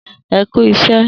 E ku isẹ